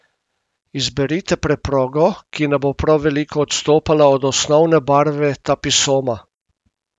Izberite preprogo, ki ne bo prav veliko odstopala od osnovne barve tapisoma.